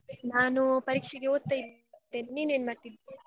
ನಾನು ಪರೀಕ್ಷೆಗೆ ಓದ್ತಾ ಇದ್ದೆ. ನೀನ್ ಏನ್ ಮಾಡ್ತಿದ್ದಿ?